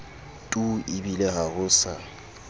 tu ebile ha ho sa